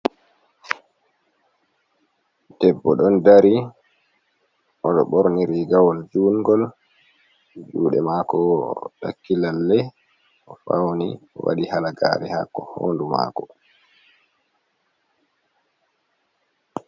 Debbo ɗon dari oɗo borni rigawol jungol jude mako woo takki lalle, o fauni owaɗi halagare ha hondu mako.